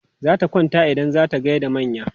Zata kwanta idan za ta gai da manya.